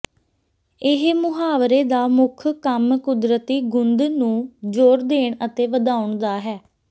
ਇਸ ਮੁਹਾਵਰੇ ਦਾ ਮੁੱਖ ਕੰਮ ਕੁਦਰਤੀ ਗੁੰਦ ਨੂੰ ਜ਼ੋਰ ਦੇਣ ਅਤੇ ਵਧਾਉਣ ਦਾ ਹੈ